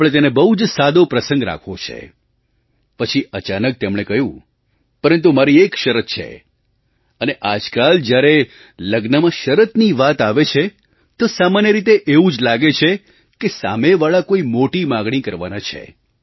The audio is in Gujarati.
આપણે તેને બહુ જ સાદો પ્રસંગ રાખવો છે પછી અચાનક તેમણે કહ્યું પરંતુ મારી એક શરત છે અને આજકાલ જ્યારે લગ્નમાં શરતની વાત આવે છે તો સામાન્ય રીતે એવું જ લાગે કે સામેવાળા કોઈ મોટી માગણી કરવાના છે